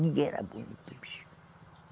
Ninguém era bonito, o bicho.